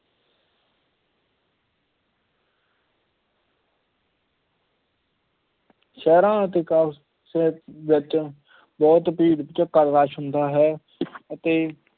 ਸ਼ਹਿਰਾਂ ਅਤੇ ਕਸਬਿਆਂ ਵਿੱਚ ਬਹੁਤ ਭੀੜ ਭਚੱਕਾਂ rush ਹੁੰਦਾ ਹੈ ਅਤੇ